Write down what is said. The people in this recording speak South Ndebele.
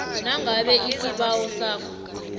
nangabe isibawo sakho